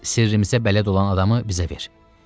Sirrimizə bələd olan adamı bizə ver.